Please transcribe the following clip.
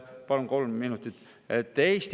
Palun kolm minutit!